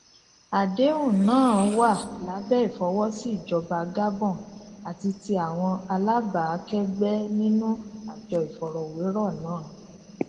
àdéhùn náà wà lábẹ ìfọwọsí ìjọba gabon àti ti àwọn alábàákẹgbẹ nínú àjọ ìfọrọwérọ náà